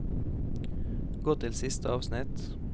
Gå til siste avsnitt